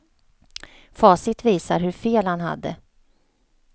Facit visar hur fel han hade.